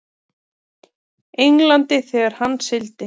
Englandi þegar hann sigldi.